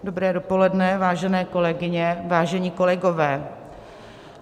Dobré dopoledne, vážené kolegyně, vážení kolegové.